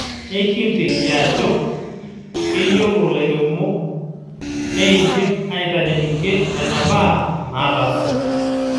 Ekinteiki ajo keyiolo lairemok neeidim aitanyanyukie nenabaa naatasate.